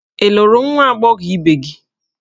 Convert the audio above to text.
Ị lụrụ nwa agbọghọ ibe gị?